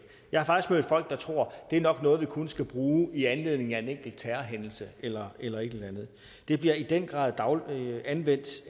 jeg har faktisk mødt folk der tror at det nok noget man skal bruge i anledning af en enkelt terrorhændelse eller eller et eller andet det bliver i den grad anvendt